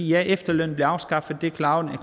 ja efterlønnen blev afskaffet det klarede